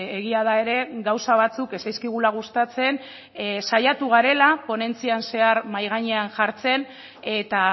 egia da ere gauza batzuk ez zaizkigula gustatzen saiatu garela ponentzian zehar mahai gainean jartzen eta